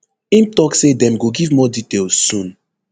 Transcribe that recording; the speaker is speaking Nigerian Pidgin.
im tok say dem go give more details soon